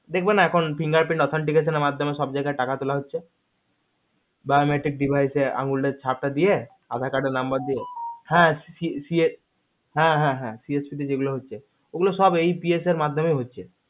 দেখবেন আবার finger pin authority মাধ্যমে সব জায়গায় টাকা তোলা হচ্ছে বা electronic devices একটা আঙুরের chap দিয়ে aadhar card number দিয়ে হা CFC এর মাধ্যমে ওগুলো সব APS এর মাধ্যমে হচ্ছে